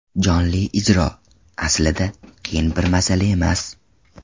Jonli ijro, aslida, qiyin bir masala emas.